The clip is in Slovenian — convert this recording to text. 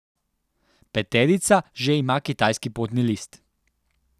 Peterica že ima kitajski potni list ...